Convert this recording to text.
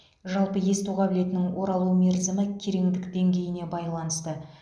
жалпы есту қабілетінің оралу мерзімі кереңдік деңгейіне байланысты